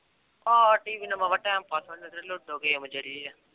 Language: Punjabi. ਆਹੋ TV ਨਾਲ ਬਾਵਾ time pass ਹੋ ਜਾਂਦਾ ਲੂਡੋ ਗੇਮ ਜਿਹੜੀ ਆ